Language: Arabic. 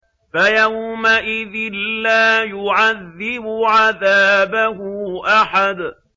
فَيَوْمَئِذٍ لَّا يُعَذِّبُ عَذَابَهُ أَحَدٌ